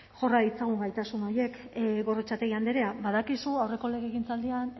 jorra ditzagun gaitasun horiek gorrotxategi andrea badakizu aurreko legegintzaldian